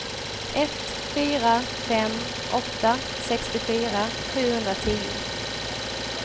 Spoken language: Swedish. ett fyra fem åtta sextiofyra sjuhundratio